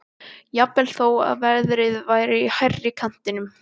Jafnvel þó að verðið væri í hærri kantinum.